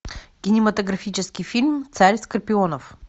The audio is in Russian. кинематографический фильм царь скорпионов